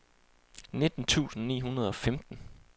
nitten tusind ni hundrede og femten